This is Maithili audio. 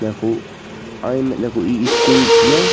नेपु आ ई में नेपु ई स्कूल छिए।